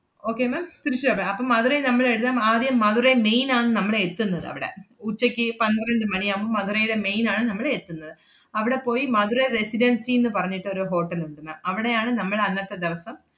okay ma'am Tiruchirappalli~ അപ്പം മധുരൈ നമ്മള് എല്ലാം ആദ്യം മധുരൈ മെയിൻ ആണ് നമ്മള് എത്തുന്നത് അവടെ. ഉച്ചക്ക് പന്ത്രണ്ട് മണിയാവുമ്പോ മധുരേലെ മെയിൻ ആണ് നമ്മള് എത്തുന്നത്. അവടെ പോയി മധുരൈ റെസിഡൻസി ~ന്ന് പറഞ്ഞിട്ട് ഒരു hotel ഉണ്ട് ma'am അവടെയാണ് നമ്മൾ അന്നത്തെ ദെവസം,